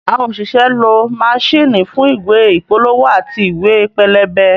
Àwọn òṣìṣẹ́ ń lọ maṣíìnì fún ìwé ìpolówó àti ìwé pẹlẹbẹ